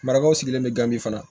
Marakaw sigilen bɛ gabi fana